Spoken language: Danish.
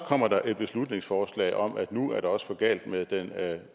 kommer der et beslutningsforslag om at nu er det også for galt med den